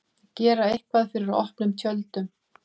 Að gera eitthvað fyrir opnum tjöldum